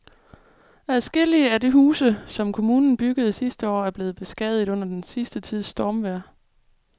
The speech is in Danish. Adskillige af de huse, som kommunen byggede sidste år, er blevet beskadiget under den sidste tids stormvejr.